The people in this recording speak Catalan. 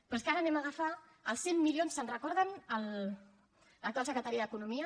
però és que ara anem a agafar els cent milions se’n recorden l’actual secretari d’economia